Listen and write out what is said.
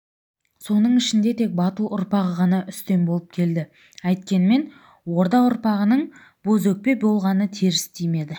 соның ішінде тек бату ұрпағы ғана үстем болып келді әйткенмен орда ұрпағының бозөкпе болғаны теріс тимеді